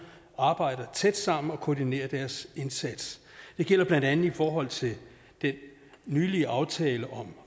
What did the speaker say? arbejder tæt sammen og koordinerer deres indsats det gælder blandt andet i forhold til den nylige aftale om